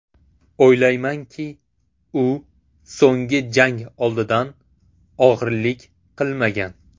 O‘ylaymanki, u so‘nggi jang oldidan og‘rilik qilmagan.